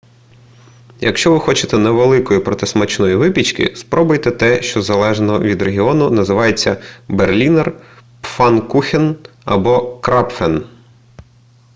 якщо ви хочете невеликої проте смачної випічки спробуйте те що залежно від регіону називається berliner pfannkuchen або krapfen